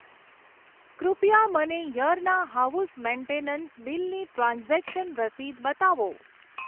કૃપયા મને યરના હાઉસ મેન્ટેનન્સ બિલની ટ્રાન્ઝેક્શન રસીદ બતાવો.